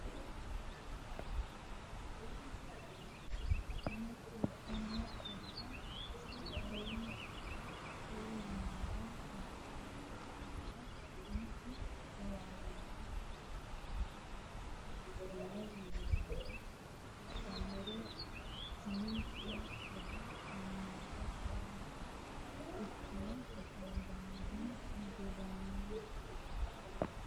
Macciishshanna Coyi ra Coyi ra Sa u lamalara macciishshitini niwaawenni qaagginannirenna hattenne niwaawe xawinsoonnire umi ne hedo shiimmaadda gaamonni ikkitine hasaabbinihu gedensaanni kifilete miilla nera bado badotenni ka ine xawisse.